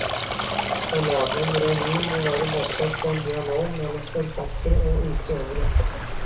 Å lage en revy må være basert på en dialog mellom forfattere og utøvere.